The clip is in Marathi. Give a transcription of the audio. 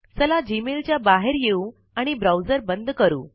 चला जीमेल च्या बाहेर येऊ आणि ब्राउजर बंद करू